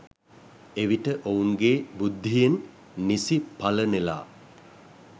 එවිට ඔවුන්ගේ බුද්ධියෙන් නිසි ඵල නෙළා